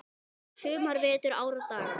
sumar, vetur, ár og daga.